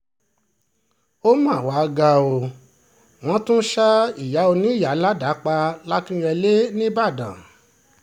ó mà wàá ga ọ́ wọ́n tún ṣa ìyá oníyàá ládàá pa làkínyẹlé nìbàdàn